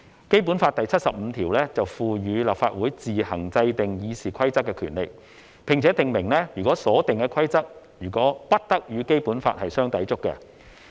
《基本法》第七十五條賦予立法會自行制定《議事規則》的權利，並且訂明所定的規則不得與《基本法》相抵觸。